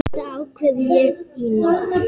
Þetta ákvað ég í nótt.